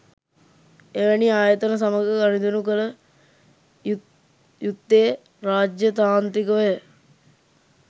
එවැනි ආයතන සමග ගනුදෙනු කළ යුත්තේරාජ්‍යතාන්ත්‍රිකව